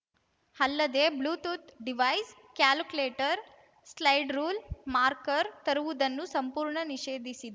ಅಲ್ಲದೇ Bluetooth device calculator slide rule marker ತರುವುದನ್ನು ಸಂಪೂರ್ಣ ನಿಷೇಧಿಸಿ